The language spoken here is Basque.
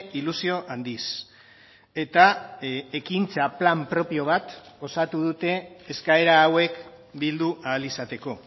ilusio handiz eta ekintza plan propio bat osatu dute eskaera hauek bildu ahal izateko